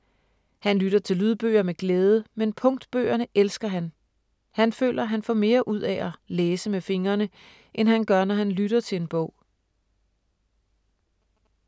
Han lytter til lydbøger med glæde, men punktbøgerne elsker han. Han føler, at han får mere ud af at ”læse med fingrene” end han gør, når han lytter til en bog.